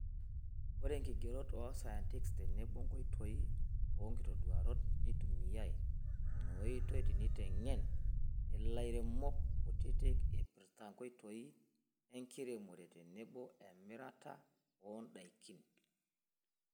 Ore nkigerot osayantist tenebo nkoitoi onkitoduarot, neitumiyai inaoitoi teneitengen ilairemok kutiti eipirta nkolongi enkiremore tenebo emirata ondaikin.